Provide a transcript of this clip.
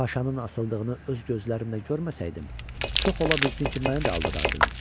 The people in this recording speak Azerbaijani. Paşanın asıldığını öz gözlərimlə görməsəydim, çox ola bilsin ki, məni də aldadardınız.